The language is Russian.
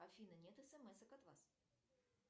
афина нет смсок от вас